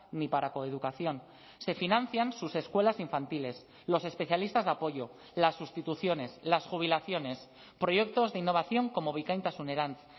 ni para coeducación se financian sus escuelas infantiles los especialistas de apoyo las sustituciones las jubilaciones proyectos de innovación como bikaintasunerantz